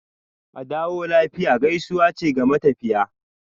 "Adawo lafiya" gaisuwa ce ga matafiya.